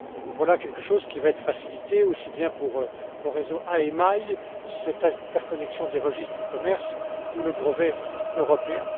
Voilà quelque chose qui va être facilité aussi bien pour le réseau IMI que pour cette interconnexion des registres du commerce ou le brevet européen.